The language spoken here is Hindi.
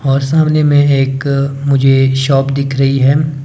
और सामने में एक मुझे शॉप दिख रही है।